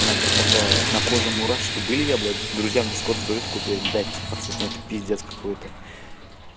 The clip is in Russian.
у меня блядь тогда на коже мурашки были я блядь друзьям в дискорд говорю такой блядь пацаны это пиздец какой-то